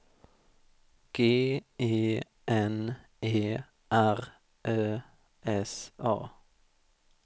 G E N E R Ö S A